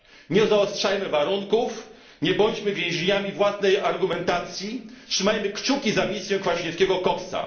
Nie zaostrzajmy warunków, nie bądźmy więźniami własnej argumentacji, trzymajmy kciuki za misję panów Kwaśniewskiego i Coxa.